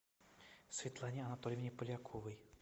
светлане анатольевне поляковой